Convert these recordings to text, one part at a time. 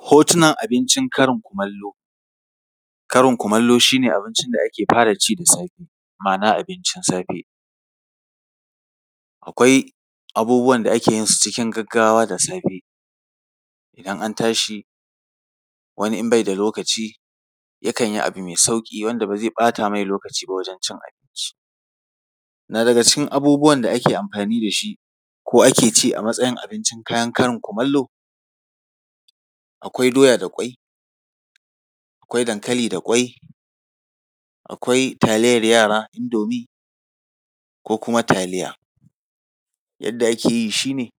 Hotunan abincin karin kumallo. Karin kumallo shi ne abincin da ake fara ci da safe. Ma’ana, abincin safe. Akwai abubuwan da ake yin su cikin gaggawa da safe. In an tashi, wani in bai da lokaci, yakan yi abu mai sauƙi wanda ba zai ɓata mai lokaci ba wajen cin abinci. Na daga cikin abubuwan da ake amfani da shi, ko ake ci a matsayin abincin kayan karin kumallo, akwai doya da ƙwai, akwai dankali da ƙwai, akwai taliyar yara (indomie), ko kuma taliya. Yadda ake yi shi ne,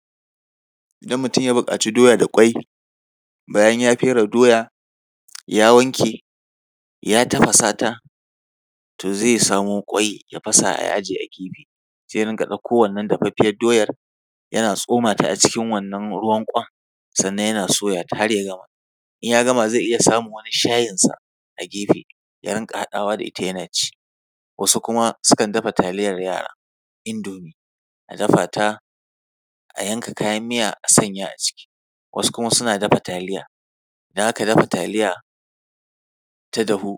idan mutum ya buƙaco doya da ƙwai, bayan ya fere doya, ya wanke, ya tafasa ta, to zai samo ƙwai, ya fasa, ya ajiye a gefe, sai ya rinƙa ɗauko wannan dafaffiyar doyar, yana tsoma ta a cikin wannan ruwan ƙwan, sannan ya soya ta har ya gama. In ya gama zai iya samun wani shayinsa a gefe, ya rinƙa haɗawa da ita yana ci. Wasu kuma sukan dafa taliyar yara (indomie), a dafa ta, a yanka kayan miya a sanya a ciki. Wasu kuma suna dafa taliya. Idan aka dafa taliya, ta dahu,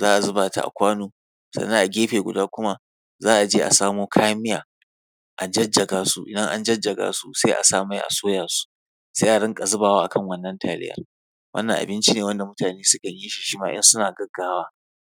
za a zuba ta a kwano, sannan a gefe guda kuma, za a je a samo kayan miya, a jajaga su, in an jajjaga su sai a sa mai, a soya su, sai a rinƙa zubawa a kan wannan taliyar. Wannan abinci ne wanda mutane sukan yi shi, shi ma in suna gaggawa.